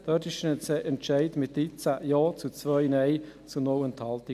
Der Entscheid hierzu fiel mit 13 Ja zu 2 Nein bei 0 Enthaltungen.